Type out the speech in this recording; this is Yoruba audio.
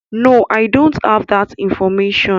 No, I don't have that information.